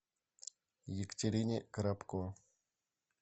екатерине коробко